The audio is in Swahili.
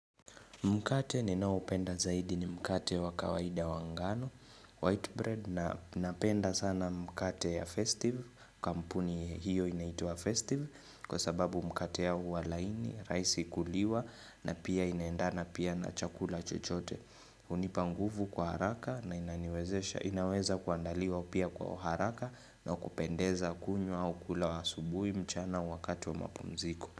Mkate ninaoupenda zaidi ni mkate wa kawaida wa ngano, white bread na napenda sana mkate ya festive, kampuni hiyo inaitwa festive kwa sababu mkate ya huwa laini, rahisi kuliwa na pia inaendana pia na chakula chochote. Hunipa nguvu kwa haraka na inaniwezesha, inaweza kuandaliwa pia kwa haraka na kupendeza kunywa au kula asubuhi mchana wakati wa mapumziko.